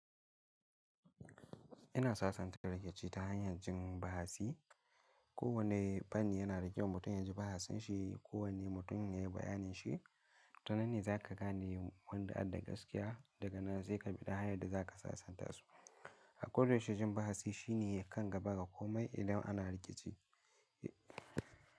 Ina sasanta rikici ta hanyar jin bahasi. Ko wanne fanni yana riƙewa mutum ya ji bahasin shi. Ko wanne mutum ya yi bayanin shi. Tananne za ka gane wanda a da gaskiya daga nan sai ka bi ta hanyar da za ka sasanta su. Hakuri, shajin bahasi shi ne kan gaba ga komai idan ana rikici.